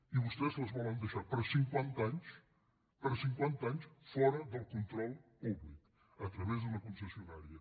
i vostès les volen deixar per cinquanta anys per cinquanta anys fora del control públic a través d’una concessionària